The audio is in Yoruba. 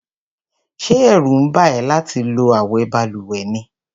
Ṣé ẹ̀rù ń bà ẹ́ láti lo àwo balùwẹ̀ ni?